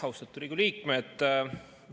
Austatud Riigikogu liikmed!